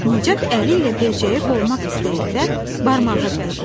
Nicat əli ilə böcəyi qovmaq istəyəndə barmağı dəydi.